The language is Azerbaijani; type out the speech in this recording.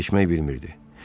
Vaxt keçmək bilmirdi.